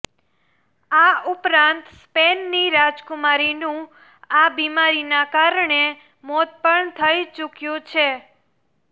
આ ઉપરાંત સ્પેનની રાજકુમારીનું આ બીમારીનાં કારણે મોત પણ થઈ ચુક્યું છે